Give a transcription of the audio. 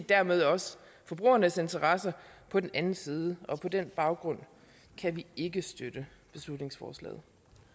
dermed også forbrugernes interesser på den anden side og på den baggrund kan vi ikke støtte beslutningsforslaget